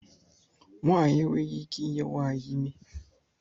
Nwanyị enweghị ike I nye nwanyị ime.